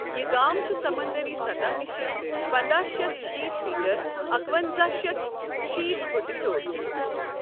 یہِ گام چھُ سَمنٛدٕری سطح نِشہٕ پنداہ شیتھ شیت مِیٖٹر اکٮونزہ شیتھ شیت فُٹہٕ ہِیوٚر۔